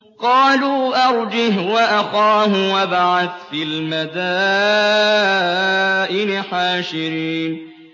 قَالُوا أَرْجِهْ وَأَخَاهُ وَابْعَثْ فِي الْمَدَائِنِ حَاشِرِينَ